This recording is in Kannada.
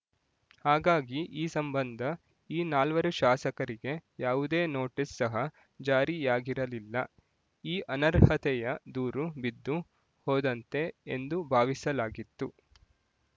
ಹಾಗಾಗಿ ಈ ಸಂಬಂಧ ಈ ನಾಲ್ವರು ಶಾಸಕರಿಗೆ ಯಾವುದೇ ನೋಟಿಸ್ ಸಹ ಜಾರಿಯಾಗಿರಲಿಲ್ಲ ಈ ಅನರ್ಹತೆಯ ದೂರು ಬಿದ್ದು ಹೋದಂತೆ ಎಂದು ಭಾವಿಸಲಾಗಿತ್ತು